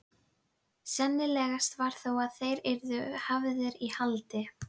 Sennilegast var þó að þeir yrðu hafðir í haldi.